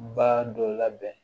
Ba dɔ labɛn